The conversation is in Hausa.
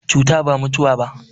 Cuta ba mutuwa ba.